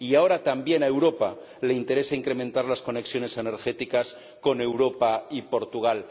Y ahora también a Europa le interesa incrementar las conexiones energéticas con España y Portugal.